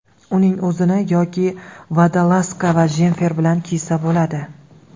Uning o‘zini yoki vodolazka va jemfer bilan kiysa bo‘ladi.